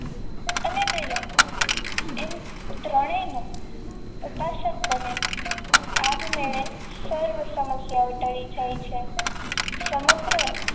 તમે દયા એમ ત્રણેયનું ઉપાસક બને આપમેળે સર્વ સમસ્યાઓ ટળી જાય છે સમગ્ર